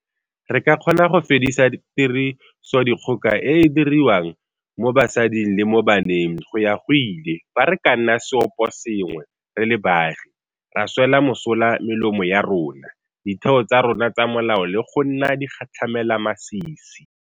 Re ka kgona go fedisa tirisodikgoka e e diriwang mo basading le mo baneng go ya go ile fa re ka nna seopo sengwe re le baagi, ra swela mosola melomo ya rona, ditheo tsa rona tsa molao le go nna digatlhamelamasisi.